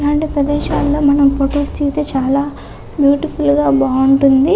ఇలాంటి ప్రదేశాలలో ఆనం ఫోటోస్ దిగితే చాల బ్యూటిఫుల్ గ బాగుంటుంది.